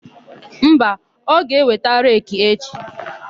Mba, ọ ga-eweta reki echi.